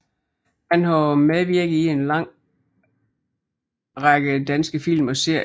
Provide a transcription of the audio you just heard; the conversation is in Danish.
Han har medvirket i en lang række danske film og serier